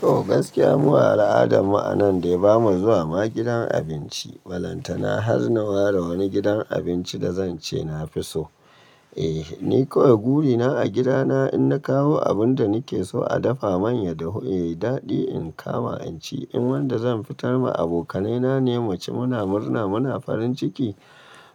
To gaskiya mu a al'ada mu a nan dai ba mu zuwa ma gidan abinci. Ballantana har na ware wani gidan abinci da zan ce na fi so. Eh ni kawai buri na a gida na in na kawo abun da ni ke so a dafa manya da hu yayi daɗi in kama in ci. In wanda zan fitar ma abokanai na ne mu ci muna murna muna farin ciki